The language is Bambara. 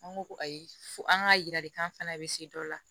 An ko ko ayi fo an k'a yira de k'an fana bɛ se dɔ la